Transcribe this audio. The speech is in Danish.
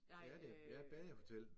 Det er det. Ja badehotel